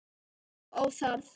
Og óþarft!